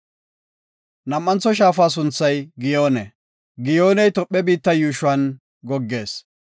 Nam7antho shaafa sunthay Giyoone. Giyooney Tophe biitta yuushuwan goggees.